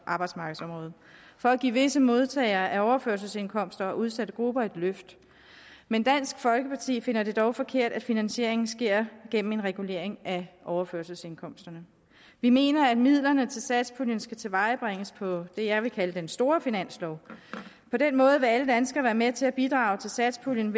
arbejdsmarkedsområdet for at give visse modtagere af overførselsindkomster og udsatte grupper et løft men dansk folkeparti finder det dog forkert at finansieringen sker gennem en regulering af overførselsindkomsterne vi mener at midlerne til satspuljen skal tilvejebringes på det jeg vil kalde den store finanslov på den måde vil alle danskere være med til at bidrage til satspuljen